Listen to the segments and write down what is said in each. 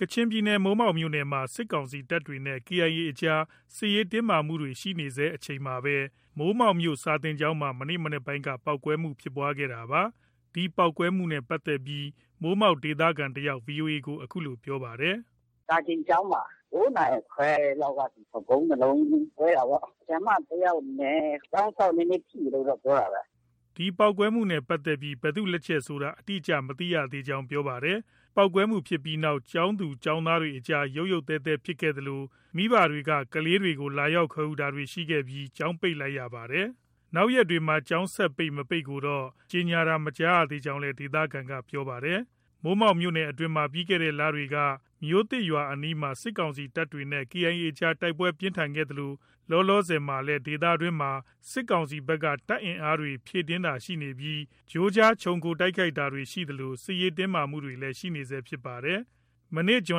ကချင်ပြည်နယ် မိုးမောက်မြို့နယ်အတွင်းမှာ စစ်ကောင်စီတပ်တွေနဲ့ KIA အကြား စစ်ရေးတင်းမာမှုတွေ ရှိနေဆဲ အချိန်မှာပဲ မိုးမောက်မြို့ စာသင်ကျောင်းမှာ မနေ့ မနက်ပိုင်းက ပေါက်ကွဲမှုဖြစ်ပွားခဲ့တာပါ။ ဒီပေါက်ကွဲမှုနဲ့ပတ်သက်ပြီး မိုးမောက်ဒေသခံတစ်ယောက် VOA ကို အခုလို ပြောပါတယ်။ “စာသင်ကျောင်းမှာ ဗုံး ၂လုံး ကွဲတာပေါ့။ ဆရာမ တစ်ယောက်နဲ့ ကျောင်းစောင့် နည်းနည်း ထိတယ်လို့ တော့ ပြောတာပဲ။” ဒီပေါက်ကွဲမှုနဲ့ ပတ်သက်ပြီး ဘယ်သူလက်ချက်ဖြစ်တယ်ဆိုတာ အတိအကျ မသိသေးကြောင်း ပြောပါတယ်။ ပေါက်ကွဲမှုဖြစ်ပြီးနောက် ကျောင်းသူ၊ ကျောင်းသားတွေအကြားမှာ ရုတ်ရုတ်သဲသဲဖြစ်ခဲ့သလို မိဘတွေက ကလေးတွေကို လာရောက်ခေါ်ယူတာတွေရှိခဲ့ပြီး ကျောင်းပိတ်လိုက်ရပါတယ်။ နောက်ရက်တွေ ကျောင်းဆက်ပိတ်၊ မပိတ်ကိုတော့ ကြေညာတာမကြားသေးကြောင်းလည်း ဒေသခံက ပြောပါတယ်။ မိုးမောက်မြို့နယ်အတွင်းမှာ ပြီးခဲ့တဲ့ လတွေက မြို့သစ်ရွာအနီးမှာ စစ်ကောင်စီတပ်တွေနဲ့ KIA အကြား တိုက်ပွဲပြင်းထန်ခဲ့သလို လောလောဆယ်မှာလည်း ဒေသတွင်းမှာ စစ်ကောင်စီဘက်က တပ်အင်အားတွေ ဖြည့်တင်းတာရှိနေပြီး ကြိုးကြား ခြုံခိုတိုက်ခိုက်တာတွေ ရှိသလို စစ်ရေးတင်းမာမှုတွေ ရှိနေဆဲဖြစ်ပါတယ်။ မနေ့ ဇွ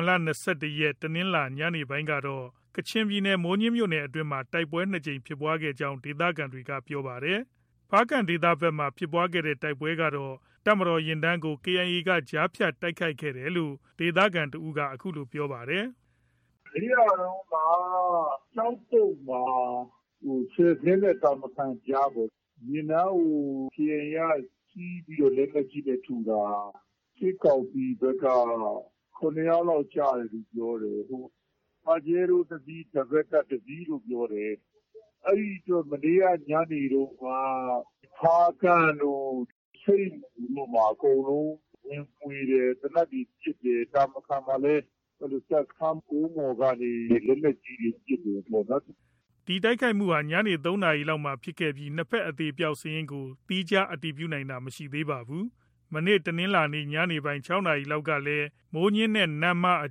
န် ၂၁ ရက် တနင်္လာ ညနေပိုင်းကတော့ ကချင်ပြည်နယ် မိုးညှင်းခရိုင်အတွင်းမှာ တိုက်ပွဲ ၂ ကြိမ်ဖြစ်ခဲ့ကြောင်း ဒေသခံတွေက ပြောပါတယ်။ ဖားကန့်ဒေသဘက်မှာ ဖြစ်တဲ့ တိုက်ပွဲကတော့ တပ်မတော်ယာဉ်တန်းကို KIA က ကြားဖြတ်တိုက်ခိုက်ခဲ့တယ်လို့ ဒေသခံ တစ်ဦးက အခုလို ပြောပါတယ်။ “ မနေ့ကတုံးက ကျောက်ပုတ်မှာ၊ ဆယ်ဇဉ်းနဲ့ တာမခန်ကြားပေါ့။ ယာဉ်တန်းကို KIA က ဆီးပြီးတော့ လက်နက်ကြီးနဲ့ ထုတာ။ စစ်ကောင်စီဘက်က ၇ ယောက်လောက် ကျတယ်လို့ ပြောတယ်။ ပါဂျဲရိုးတစ်စီး၊ ဒဘယ်လ်ကပ် တစ်စီးလို့ ပြောတယ်။ အဲဒီအတွက် မနေ့က ညနေတုံးက ဖားကန့်တို့၊ ဆိတ်မူတို့မှာ အကုန်လုံး ဝင်မွှေတယ်။ သေနတ်တွေ ပစ်တယ်။ တာမခန်မှာလည်း တပ်စခန်းကုန်းပေါ်ကနေ လက်နက်ကြီးတွေ ပစ်တယ်ပေါ့နော်။” ဒီတိုက်ခိုက်မှုဟာ ညနေ ၃နာရီလောက်မှာဖြစ်ခဲ့ပြီး နှစ်ဘက် အသေအပျောက်စာရင်းကို သီးခြား အတည်ပြုနိုင်တာ မရှိသေးပါဘူး။ မနေ့တနင်္လာနေ့ ညနေပိုင်း ၆ နာရီလောက်ကလည်း မိုးညှင်းနဲ့ နမ့်မားအ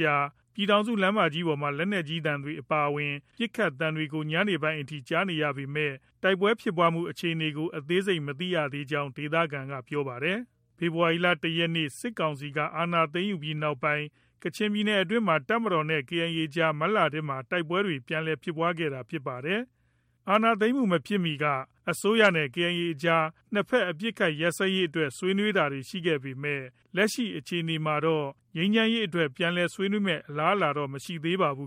ကြား ပြည်ထောင်စုလမ်းပေါ်မှာ လက်နက်ကြီးသံတွေအပါအဝင် ပစ်ခတ်သံတွေကို ညပိုင်းအထိ ကြားနေရပေမဲ့ တိုက်ပွဲဖြစ်ပွားမှု အခြေအနေကို အသေးစိတ် မသိကြောင်း ဒေသခံတွေက ပြောပါတယ်။ ဖေဖော်ဝါရီလ ၁ ရက်နေ့ စစ်ကောင်စီက အာဏာသိမ်းယူပြီးနောက်ပိုင်း ကချင်ပြည်နယ်အတွင်းမှာ တပ်မတော်နဲ့ KIA အကြား မတ်လထဲက တိုက်ပွဲတွေ ပြန်လည်ဖြစ်ပွားခဲ့တာဖြစ်ပါတယ်။ အာဏာသိမ်းမှုမဖြစ်မီက အစိုးရနဲ့ KIA အကြား နှစ်ဘက် အပစ်အခတ် ရပ်စဲရေးအတွက် ဆွေးနွေးတာတွေ ရှိခဲ့ပေမဲ့ လက်ရှိအခြေအနေမှာတော့ ငြိမ်းချမ်းရေးအတွက် ပြန်လည် ဆွေးနွေးမယ့် အလားအလာတော့ မရှိသေးပါဘူး